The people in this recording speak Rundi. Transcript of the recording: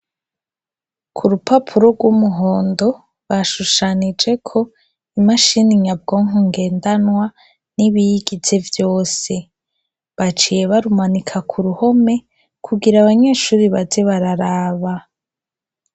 Ku rupapuro rw'umuhondo bashushanijeko imashini nyabwonko ngendanwa n'ibiyigize vyose baciye barumanika ku ruhome kugira abanyeshuri baze bararaba.